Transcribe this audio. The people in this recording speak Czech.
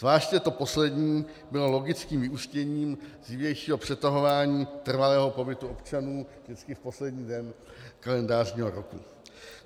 Zvláště to poslední bylo logickým vyústěním dřívějšího přetahování trvalého pobytu občanů vždycky v poslední den kalendářního roku.